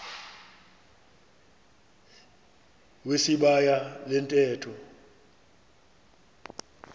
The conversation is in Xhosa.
wesibaya le ntetho